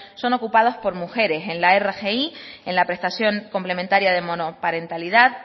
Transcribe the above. son ocupados por mujeres en la rgi en la prestación complementaria de monoparentalidad